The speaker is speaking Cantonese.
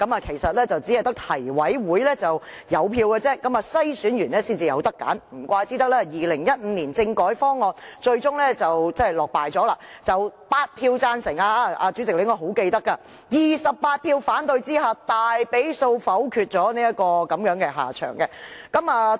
其實只是提名委員會有票而已，經篩選後，市民才能選擇，難怪2015年政改方案最終落敗，主席應該非常記得，方案是8票贊成 ，28 票反對下，被大比數否決，落得如此下場。